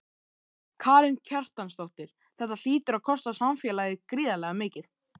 Karen Kjartansdóttir: Þetta hlýtur að kosta samfélagið gríðarlega mikið?